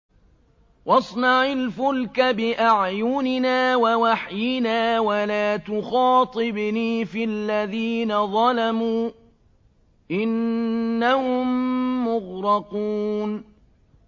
وَاصْنَعِ الْفُلْكَ بِأَعْيُنِنَا وَوَحْيِنَا وَلَا تُخَاطِبْنِي فِي الَّذِينَ ظَلَمُوا ۚ إِنَّهُم مُّغْرَقُونَ